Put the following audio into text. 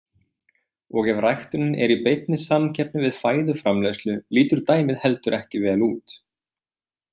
Og ef ræktunin er í beinni samkeppni við fæðuframleiðslu lítur dæmið heldur ekki vel út.